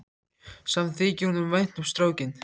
Samt þykir honum vænt um strákinn.